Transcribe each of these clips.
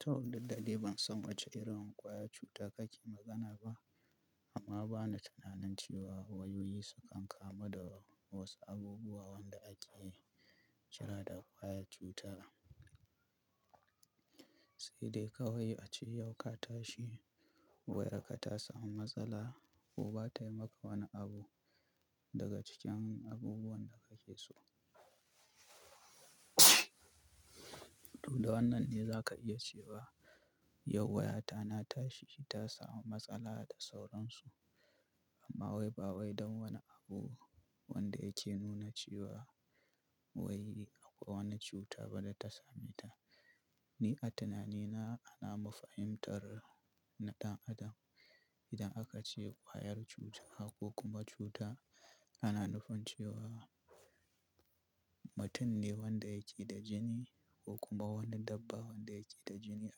To, duk da dai ban san wace irin kwayar cuta kake magana ba, amma bana tunanin cewa wayoyi sukan kamu da wasu abubuwa wanda ake kira da kwayar cuta. Sai dai kawai a ce yau ka tashi wai wayarka ta samu matsala ko ba ta yi maka wani abu daga cikin abubuwan da ka ke so. To da wannan ne za ka iya cewa yau wayata na tashi ta samu matsala da sauransu. Amma wai ba wai don wani abu wanda yake nuna cewa wai akwai wani cuta ba da ta same ta. Ni a tunanina ana mafahimtar ɗan adam idan aka ce kwayar cuta ko kuma cuta, ana nufin cewa mutum ne wanda yake da jini ko kuma wani dabba wanda yake da jini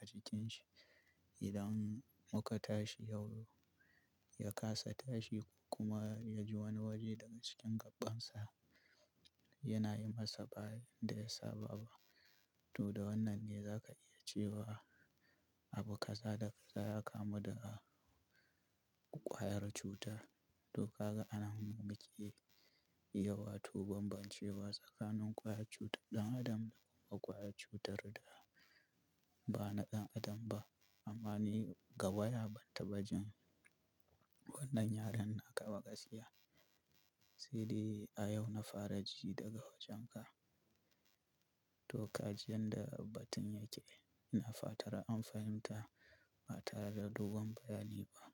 a jikinshi. Idan muka tashi yau ya kasa tashi kuma ya ji wani waje daga cikin gaɓɓansa yana yi masa bayadda ya saba ba. To da wannan ne za ka iya cewa abu kaza da kaza ya kamu da kwayar cutar. To kaga anan muke, yawatu ban ban cewa tsakanin kwayar cutar ɗan adam da kuma kwayar cutar da ba na ɗan adam ba. Amma ni ga waya ban taɓa jin wannan yaren naka waƙasia. Sai dai a yau na fara ji daga wajenka. To kaji yanda batun yake ina fatar an fahimta ba tare da dogon bayani ba.